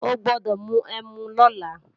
O gbọ́dọ̀ mu ẹmu lọ́la!